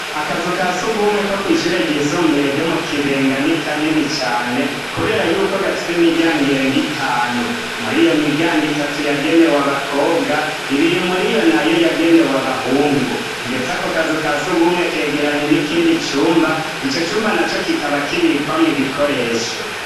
Akazu kasugumwe ko kwishure ryisumbuye ryomu kibenga nihanini cane kubera yuko gafise imiryango irenga itanu muriyo miryango itatu yagendewe abakobwa ibiri muriyo nayo yagenewe abahungu ndetse akokazi kasugumwe kegeranye nikindi cumba ndetse icocumba kikaba kubikwamwo nibindi bikoresho